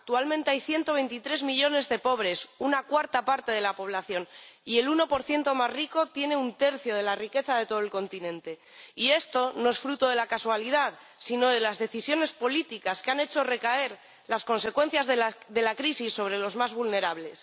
Actualmente hay 123 millones de pobres —una cuarta parte de la población— y el 1 más rico tiene un tercio de la riqueza de todo el continente, y esto no es fruto de la casualidad, sino de las decisiones políticas que han hecho recaer las consecuencias de la crisis sobre los más vulnerables.